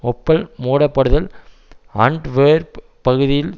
Opel மூடப்படுதல் Antwerp பகுதியில்